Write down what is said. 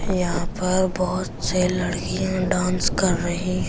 यहां पर बहुत से लड़कियां डांस कर रही है।